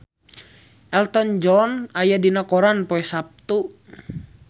Elton John aya dina koran poe Saptu